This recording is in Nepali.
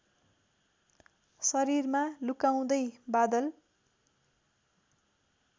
शरीरमा लुकाउँदै बादल